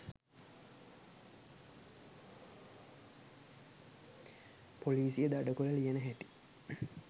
පොලීසිය දඩ කොල ලියන හැටි